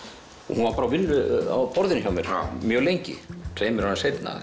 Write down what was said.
hún var bara á borðinu hjá mér mjög lengi tveimur árum seinna